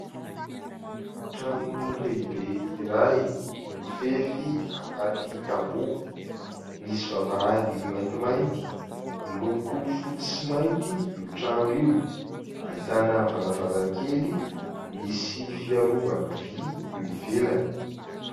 Trano lehibe iray : mifefy anaty tamboho, misy vavahady maintimainty, miloko fotsy sy mainty io trano io, ahitana varavarakely misy fiarovana vy eo ivelany.